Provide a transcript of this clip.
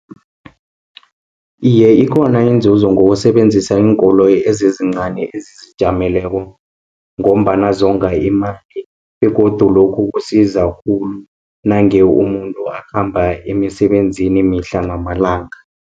Iye ikhona inzuzo ngokusebenzisa iinkoloyi ezincani ezizijameleko, ngombana zonga imali, begodu lokhu kusiza khulu, nange umuntu akhamba emisebenzini mihla namalanga.